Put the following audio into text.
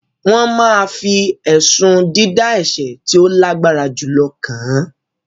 wọ́n ma fi ẹ̀sùn “ dídá ẹ̀sẹ̀ tí ó lágbára jùlọ” kàn án